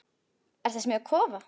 Ertu að smíða kofa?